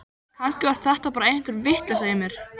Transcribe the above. Kannski var þetta bara einhver vitleysa í mér.